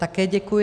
Také děkuji.